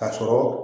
Ka sɔrɔ